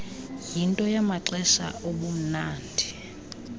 yinto yamaxesha obumnandi